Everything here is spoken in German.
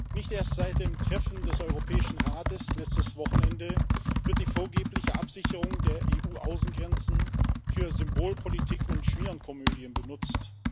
Nicht erst seit dem Treffen des Europäischen Rates letztes Wochenende wird die vorgebliche Absicherung der EU Außengrenzen für Symbolpolitik und Schmierenkomödien benutzt.